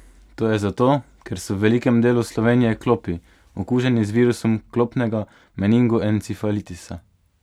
To je zato, ker so v velikem delu Slovenije klopi, okuženi z virusom klopnega meningoencefalitisa.